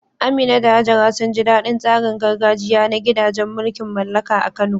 Amina da Hajara sun ji daɗin tsarin gargajiya na gidajen mulkin mallaka a Kano.